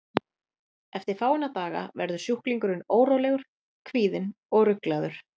Eftir fáeina daga verður sjúklingurinn órólegur, kvíðinn og ruglaður.